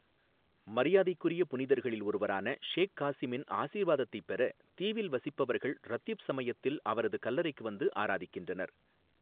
மரியாதைக்குரிய புனிதர்களில் ஒருவரான ஷேக் காசிமின் ஆசீர்வாதத்தைப் பெற தீவில் வசிப்பவர்கள் ரத்தீப் சமயத்தில் அவரது கல்லறைக்கு வந்து ஆராதிக்கின்றனர்.